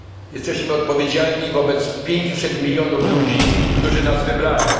Jesteśmy odpowiedzialni wobec 500 milionów obywateli, którzy nas wybrali.